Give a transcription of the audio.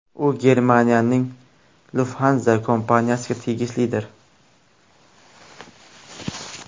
U Germaniyaning Lufthansa kompaniyasiga tegishlidir.